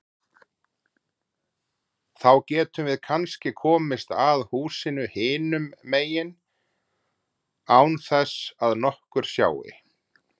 Þá getum við kannski komist að húsinu hinum megin án þess að nokkur sjái.